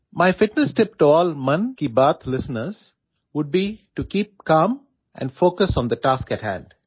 My fitness tip to all 'Mann Ki Baat' listeners would be to keep calm and focus on the task ahead